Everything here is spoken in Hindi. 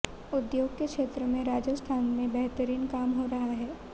उद्योग के क्षेत्र में राजस्थान में बेहतरीन काम हो रहा है